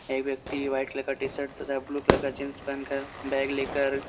एक व्यक्ति वाइट का टी-शर्ट तथा ब्लू का जीन्स पहनकर बेग लेकर --